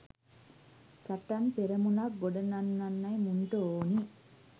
සටන් පෙරමුණක් ගොඩනංවන්නයි මුන්ට ඕනි